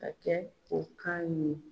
Ka kɛ o kan ɲin